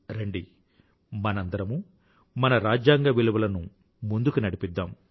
రండి మనందరమూ మన రాజ్యాంగ విలువలను ముందుకు నడిపిద్దాం